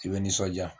I bɛ nisɔndiya